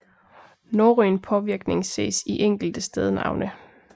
Norrøn påvirkning ses i enkelte stednavne